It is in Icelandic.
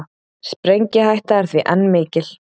Sprengihætta er því enn mikil